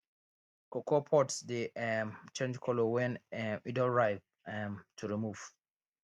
cocoa pods dey um change colour wen um im don ripe um to remove